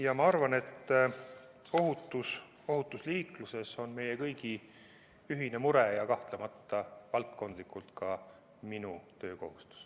Ja ma arvan, et ohutus liikluses on meie kõigi ühine mure ja kahtlemata valdkondlikult ka minu töökohustus.